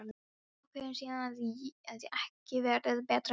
Ákveður síðan að ekki verði betur að gert.